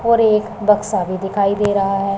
और एक बक्सा भी दिखाई दे रहा हैं।